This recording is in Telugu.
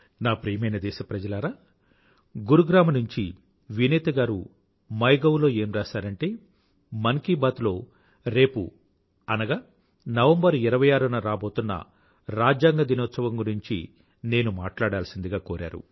నా ప్రియమైన దేశప్రజలారా గురుగ్రామ్ నుంచి వినీత గారు మై గౌ లో ఏం రాసారంటే మన్ కీ బాత్ లో రేపు అనగా నవంబర్ 26 న రాబోతున్న రాజ్యాంగ దినోత్సవం గురించి నేను మాట్లాడాల్సిందిగా కోరారు